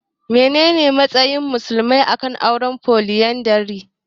Menene matsayar musulmai a kan auren Foliyandari?